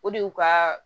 O de y'u ka